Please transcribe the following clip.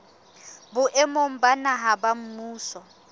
boemong ba naha ba mmuso